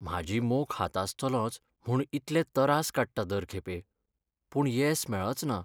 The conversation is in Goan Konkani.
म्हाजी मोख हातासतलोंच म्हूण इतले तरास काडटां दर खेपे, पूण येस मेळचना.